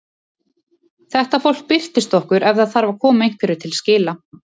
Þetta fólk birtist okkur ef það þarf að koma einhverju til skila.